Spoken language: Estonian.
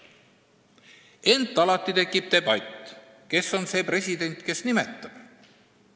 Ent riigis käib debatt, kes on see president, kes selle inimese nimetab.